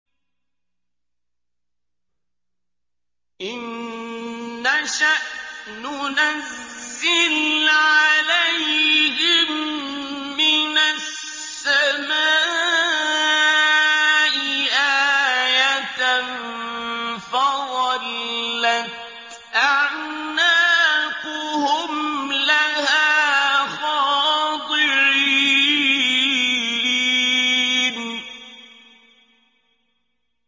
إِن نَّشَأْ نُنَزِّلْ عَلَيْهِم مِّنَ السَّمَاءِ آيَةً فَظَلَّتْ أَعْنَاقُهُمْ لَهَا خَاضِعِينَ